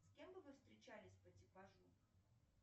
с кем бы вы встречались по типажу